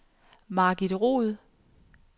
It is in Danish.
Margit Roed